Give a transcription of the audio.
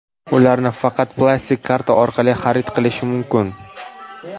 Ularni faqat plastik karta orqali xarid qilish mumkin.